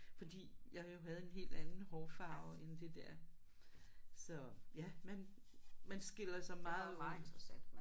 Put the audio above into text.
Fordi jeg jo havde en helt anden hårfarve end det der. Så ja man man skiller sig meget ud